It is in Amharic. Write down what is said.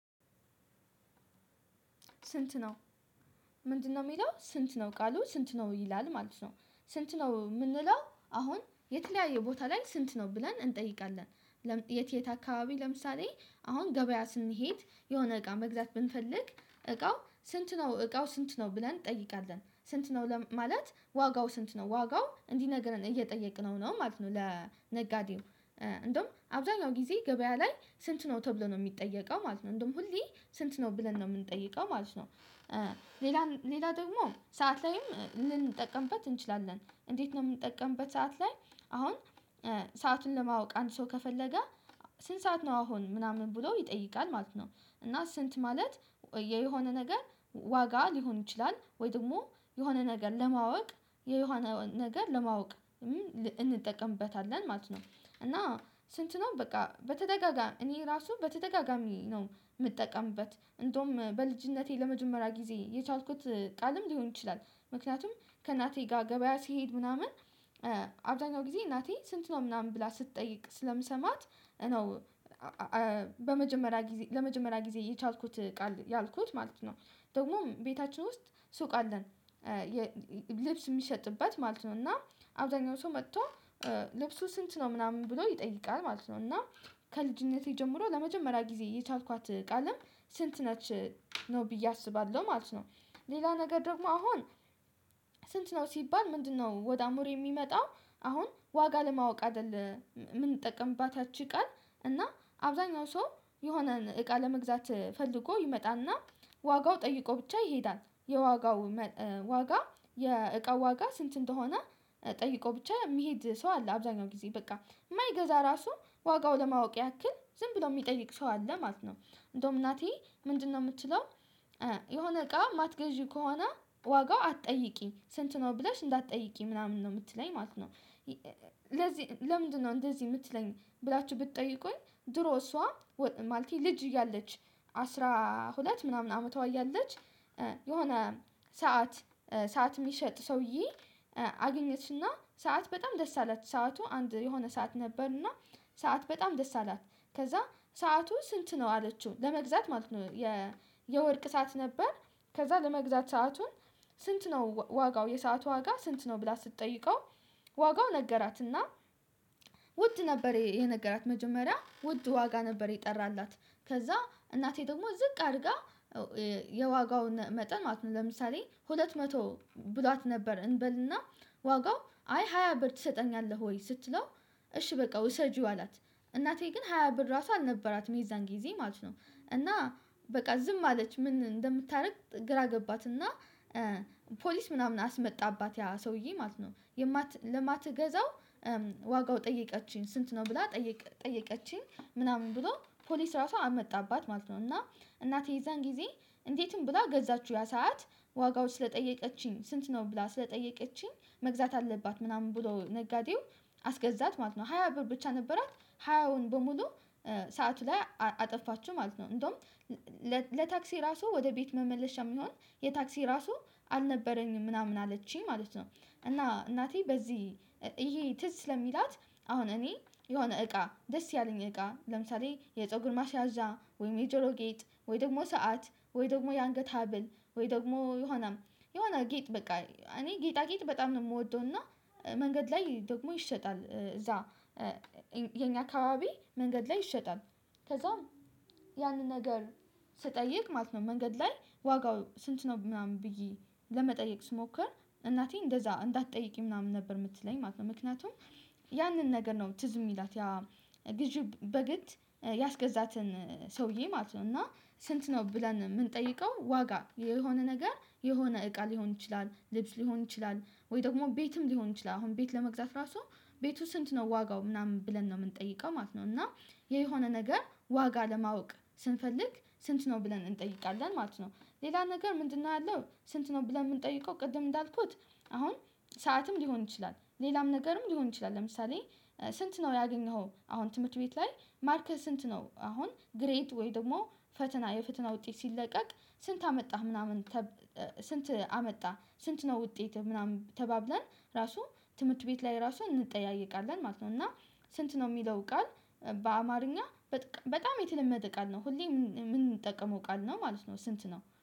ስንት ነው? ምንድነው የሚለው ስንት ነው ቃሉ ስንት ነው ይላል ማለት ነው። ስንት ነው የምንለው አሁን የተለያየ ቦታ ላይ ስንት ነው ብለን እንጠይቃለን። የት የት አካባቢ ለምሳሌ አሁን ገበያ ስንሄድ የሆነ እቃ መግዛት ብንፈልግ እቃው ስንት ነው እቃው ስንት ነው ብለን እንጠይቃለን። ስንት ነው ማለት ዋጋው ስንት ነው ዋጋው እንዲህ ነገር እየጠየቅነው ነው ማለት ነው። ለነጋዴው። እንደውም አብዛኛው ጊዜ ገበያ ላይ ስንት ነው ተብሎ ነው የሚጠየቀው ማለት ነው። እንደውም ሁሌ ስንት ነው ብለን ነው የምንጠይቀው ማለት ነው። ሌላ ደግሞ ሰዓት ላይም ልንጠቀምበት እንችላለን እንዴት ነው የምንጠቀምበት? ሰዓት ላይ አሁን ሰአቱን ለማወቅ አንድ ሰው ከፈለገ ስንት ሰዓት ነው አሁን ምናምን ብሎ ይጠይቃል ማለት ነው። እና ስንት ማለት የሆነ ነገር ዋጋ ሊሆን ይችላል ወይ ደግሞ የሆነ ነገር ለማወቅ የሆነ ነገር ለማወቅ እንጠቀምበታለን ማለት ነው። እና ስንት ነው በቃ በተደጋጋሚ እኔ ራሱ በተደጋጋሚ ነው የምጠቀምበት እንደውም በልጅነቴ ለመጀመሪያ ጊዜ የቻልኩት ቃልም ሊሆን ይችላል። ምክንያቱም ከእናቴ ጋር ገበያ ስሄድ ምናምን አብዛኛው ጊዜ እናቴ ስንት ነው ምናምን ብላ ስትጠይቅ ስለምሰማት ነው። በመጀመሪያ ጊዜ ለመጀመሪያ ጊዜ የቻልኩት ቃል ያልኩት ማለት ነው። ደግሞ ቤታችን ውስጥ ሱቅ አለን። ልብስ የሚሸጥበት ማለት ነው እና አብዛኛው ሰው መጥቶ ልብሱ ስንት ነው ምናምን ብሎ ይጠይቃል ማለት ነው። እና ከልጅነቴ ጀምሮ ለመጀመሪያ ጊዜ የቻልኳት ቃልም ስንት ነች ነው ብዬ አስባለሁ ማለት ነው። ሌላ ነገር ደግሞ አሁን ስንት ነው ሲባል ምንድነው ወደ አእምሮ የሚመጣው? አሁን ዋጋ ለማወቅ አይደለም የምንጠቀምባት ያቺ ቃል እና አብዛኛው ሰው የሆነን እቃ ለመግዛት ፈልጎ ይመጣና ዋጋውን ጠይቆ ብቻ ይሄዳል የዋጋው ዋጋ የእቃው ዋጋ ስንት እንደሆነ ጠይቆ ብቻ የሚሄድ ሰው አለ አብዛኛው ጊዜ በቃ የማይገዛ ራሱ ዋጋው ለማወቅ ያክል ዝም ብሎ የሚጠይቅ ሰው አለ ማለት ነው። እንደውም እናቴ ምንድነው የምትችለው? የሆነ እቃ ማትገዢው ከሆነ ዋጋው አትጠይቂኝ ስንት ነው ብለሽ እንዳትጠይቂኝ ምናምን ነው የምትለኝ ማለት ነው። ስለዚህ ለምንድነው እንደዚህ የምትለኝ ብላችሁ ብትጠይቁኝ። ድሮ እሷ ማለት ልጅ እያለች አስራ ሁለት ምናምን አመቷ ያለች የሆነ ሰዓት ሰዓት የሚሸጥ ሰውዬ አገኘችና ሰዓት በጣም ደስ አላት ሰዓቱ አንድ የሆነ ሰዓት ነበርና ሰዓት በጣም ደስ አላት ከዛ ሰዓቱ ስንት ነው አለችው ለመግዛት ማለት ነው። የወርቅ ሰዓት ነበር። ከዛ ለመግዛት ሰአቱን ስንት ነው ዋጋው የሰዓቱ ዋጋ ስንት ነው ብላ ስትጠይቀው ዋጋው ነገራትና። ውድ ነበር የነገራት መጀመሪያ ውድ ዋጋ ነበር የጠራላት ከዛ እናቴ ደግሞ ዝቅ አድርጋ የዋጋውን መጠን ማለት ነው ለምሳሌ ሁለት መቶ ብሏት ነበር እንበልና ዋጋው አይ ሃያ ብር ትሰጠኛለህ ወይ ስትለው እሺ በቃ ውሰጂው አላት። እናቴ ግን ሃያ ብር ራሱ አልነበራትም የዛን ጊዜ ማለት ነው። እና በቃ ዝም አለች ምን እንደምታደርግ ግራ ገባትና ፖሊስ ምናምን አስመጣባት ያ ሰውዬ ማለት ነው። ለማትገዛው ዋጋው ጠየቀችኝ ስንት ነው ብላ ጠየቀችኝ ምናምን ብሎ ፖሊስ ራሱ አመጣባት ማለት ነው። እና እናቴ የዛን ጊዜ እንዴትም ብላ ገዛችሁ ያ ሰዓት ዋጋዎች ስለጠየቀችኝ ስንት ነው ብላ ስለጠየቀችኝ መግዛት አለባት ምናምን ብሎ ነጋዴው አስገዛት ማለት ነው። ሃያ ብር ብቻ ነበራት ሃያውን በሙሉ ሰዓቱ ላይ አጠፋችው ማለት ነው። እንደውም ለታክሲ ራሱ ወደ ቤት መመለሻ የሚሆን የታክሲ ራሱ አልነበረኝም ምናምን አለችኝ ማለት ነው። እና እናቴ በዚህ ይሄ ትዝ ስለምትላት አሁን እኔ የሆነ እቃ ደስ ያለኝ እቃ ለምሳሌ የፀጉር ማሲያዧ ወይ የጀሮ ጌጥ ወይ ደግሞ ሰዓት ወይ ደግሞ የአንገት ሀብል ወይ ደግሞ የሆነም የሆነ ጌጥ በቃ እኔ ጌጣጌጥ በጣም ነው የምወደው። እና መንገድ ላይ ደግሞ ይሸጣል እዛ የኛ አካባቢ መንገድ ላይ ይሸጣል። ከዛም ያንን ነገር ስጠይቅ ማለት ነው። መንገድ ላይ ዋጋው ስንት ነው ምናምን ብዬ ለመጠየቅ ስሞክር እናቴ እንደዛ እንዳትጠይቂ ምናምን ነበር የምትለኝ ማለት ነው። ምክንያቱም ያንን ነገር ነው ትዝ የሚላት ያ ግዢ በግድ ያስገዛትን ሰውዬ ማለት ነው። እና ስንት ነው ብለን የምንጠይቀው ዋጋ የሆነ ነገር የሆነ እቃ ሊሆን ይችላል ልብስ ሊሆን ይችላል ወይ ደግሞ ቤትም ሊሆን ይችላል አሁን ቤት ለመግዛት ራሱ ቤቱ ስንት ነው ዋጋው ምናምን ብለን ነው የምንጠይቀው ማለት ነው። እና የሆነ ነገር ዋጋ ለማወቅ ስንፈልግ ስንት ነው ብለን እንጠይቃለን ማለት ነው። ሌላ ነገር ምንድነው ያለው? ስንት ነው ብለን የምንጠይቀው ቅድም እንዳልኩት አሁን ሰዓትም ሊሆን ይችላል ሌላም ነገርም ሊሆን ይችላል። ለምሳሌ ስንት ነው ያገኘኸው? አሁን ትምህርት ቤት ላይ ማርኬስ ስንት ነው አሁን ግሬድሰ ወይ ደግሞ ፈተና የፈተና ውጤት ሲለቀቅ ስንት አመጣህ ምናምን። ስንት አመጣህ ስንት ነው ውጤት ምናምን ተባብለን ራሱ ትምህርት ቤት ላይ ራሱን እንጠያይቃለን ማለት ነው። እና ስንት ነው የሚለው ቃል በአማርኛ በጣም የተለመደ ቃል ነው ሁሌ የምንጠቀመው ቃል ነው ማለት ነው። ስንት ነው